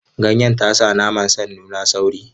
Ganyen ta sa naman san nuna sauri.